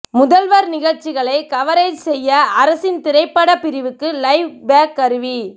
முதல்வர் நிகழ்ச்சிகளை கவரேஜ் செய்ய அரசின் திரைப்படப் பிரிவுக்கு லைவ் பேக் கருவி